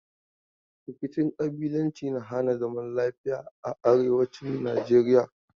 Rkicin ƙabilanci na hana zaman lafiya a arewacin Najeriya.